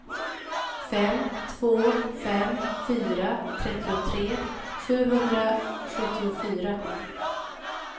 fem två fem fyra trettiotre sjuhundrasjuttiofyra